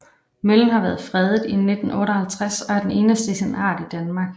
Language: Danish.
Møllen har været fredet siden 1958 og er den eneste af sin art i Danmark